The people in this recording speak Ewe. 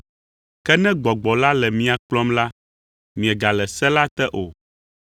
Ke ne Gbɔgbɔ la le mia kplɔm la, miegale se la te o.